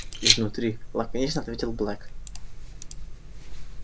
изнутри лаконично ответил блэк